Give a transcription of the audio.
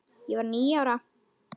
Ég var níu ára.